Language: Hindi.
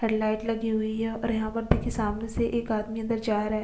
हेड लाइट लगी हुई है और यहाँ पर देखिए सामने से एक आदमी अंदर जा रहा है।